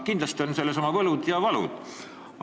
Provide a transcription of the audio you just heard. Kindlasti on selles töös oma võlud ja valud.